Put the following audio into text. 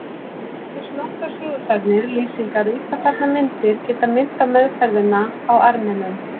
Einungis nokkrar sögusagnir, lýsingar og illa farnar myndir geta minnt á meðferðina á Armenum.